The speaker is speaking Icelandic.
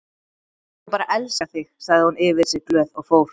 Hún bara elskar þig sagði hún yfir sig glöð og fór.